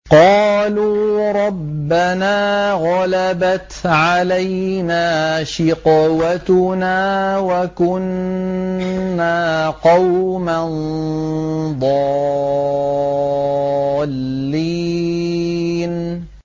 قَالُوا رَبَّنَا غَلَبَتْ عَلَيْنَا شِقْوَتُنَا وَكُنَّا قَوْمًا ضَالِّينَ